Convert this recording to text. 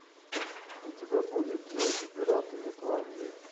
у тебя будет джейк и пираты нетландии